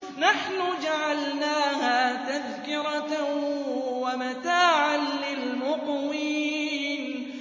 نَحْنُ جَعَلْنَاهَا تَذْكِرَةً وَمَتَاعًا لِّلْمُقْوِينَ